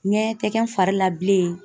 Ɲɛɲɛ tɛ kɛ n fari la bilen.